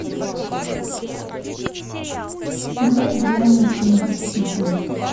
давай глянем фильм мстители